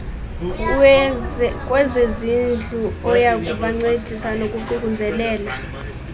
kwezezindlu oyakubancedisa ngokuququzelela